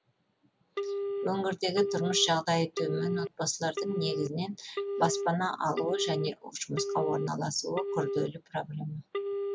өңірдегі тұрмыс жағдайы төмен отбасылардың негізінен баспана алуы және жұмысқа орналасуы күрделі проблема